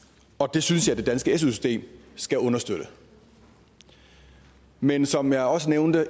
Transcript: det synes jeg det danske su system skal understøtte men som jeg også nævnte